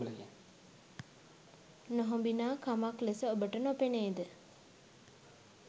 නොහොබිනා කමක් ලෙස ඔබට නොපෙනේද?